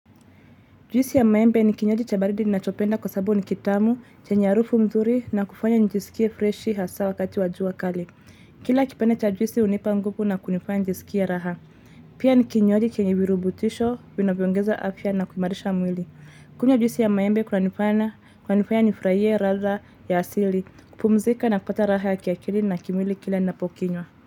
Juisi ya maembe ni kinywaji cha baridi nachopenda kwa sabu ni kitamu, chenye arufu mzuri na kufanya nijisikie freshi hasa wakati wa jua kali. Kila kipande cha juisi hunipa nguvu na kunifanya njisikie raha. Pia ni kinywaji chenye virubutisho, vinavyoongeza afya na kuimarisha mwili. Kunywa juisi ya maembe kunanifanya nifraie radha ya asili, kupumzika na kupata raha ya kiakili na kimwili kila napokinywa.